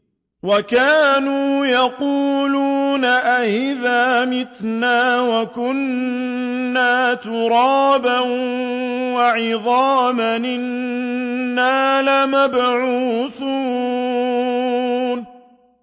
وَكَانُوا يَقُولُونَ أَئِذَا مِتْنَا وَكُنَّا تُرَابًا وَعِظَامًا أَإِنَّا لَمَبْعُوثُونَ